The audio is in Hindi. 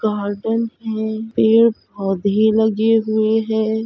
गार्डन है। पेड़-पौधे लगे हुए है।